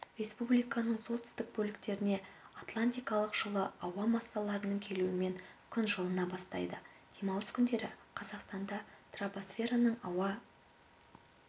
республиканың солтүстік бөліктеріне атлантикалық жылы ауа массаларының келуімен күн жылына бастайды демалыс күндері қазақстанда тропосфераның ауа